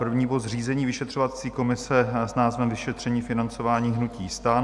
První bod - zřízení vyšetřovací komise s názvem Vyšetření financování hnutí STAN.